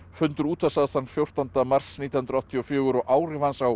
fundur útvarpsráðs þann fjórtánda mars nítján hundruð áttatíu og fjögur og áhrif hans á